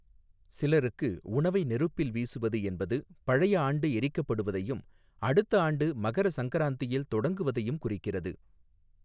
சிலருக்கு, உணவை நெருப்பில் வீசுவது என்பது பழைய ஆண்டு எரிக்கப்படுவதையும், அடுத்த ஆண்டு மகர சங்கராந்தியில் தொடங்குவதையும் குறிக்கிறது.